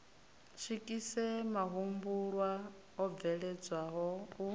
swikise mahumbulwa o bveledzwaho u